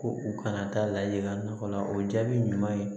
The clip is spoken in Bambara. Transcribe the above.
Ko u kana taa lahala la o jaabi ɲuman ye